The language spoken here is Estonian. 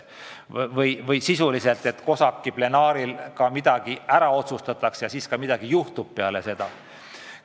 Sisuliselt on küsimus selles, et kui COSAC-i plenaaristungil midagi ära otsustatakse, kas siis midagi ka juhtub peale seda.